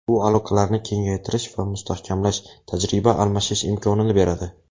Bu aloqalarni kengaytirish va mustahkamlash, tajriba almashish imkonini beradi.